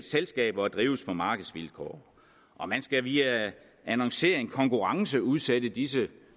selskaber og drives på markedsvilkår og man skal via annoncering konkurrenceudsætte disse